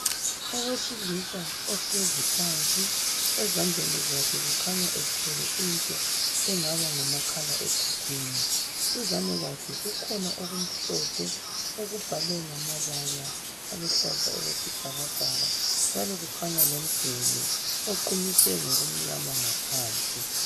Owesilisa ohlezi phansi ezandleni zakhe kukhanya ethwele into engaba ngumakhalekhukwini. Duzane kwakhe kukhona okumhlophe okubhalwe ngamabala aluhlaza okwesibhakabhaka njalo kukhanya lomduli oqunyiswe ngokumnyama ngaphansi.